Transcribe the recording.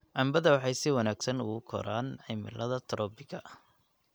canbada waxay si wanaagsan ugu koraan cimilada troppiga.